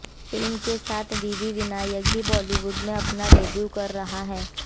film के साथ वीवी विनायक भी बॉलीवुड में अपना डेब्यू कर रहे हैं